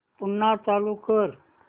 पुन्हा चालू कर